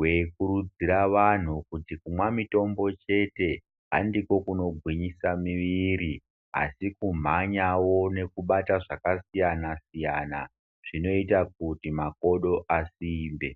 veikurudzira vanhu kuti kumwa mitombo chete handiko kunogwinyisa mwiviri. Asi kumwanyavo nekubata zvakasiyana-siyana zvinoita kuti makodo asimbe.